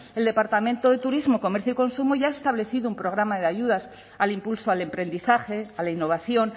el departamento de turismo comercio y consumo ya ha establecido un programa de ayudas al impulso al emprendizaje a la innovación